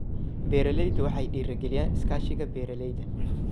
Beeralaydu waxay dhiirigeliyaan iskaashiga beeralayda.